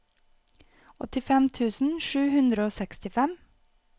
åttifem tusen sju hundre og sekstifem